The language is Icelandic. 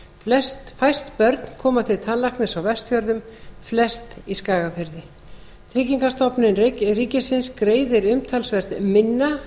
tannlækni fæst börn koma til tannlæknis á vestfjörðum flest í skagafirði tryggingastofnun ríkisins greiðir umtalsvert minna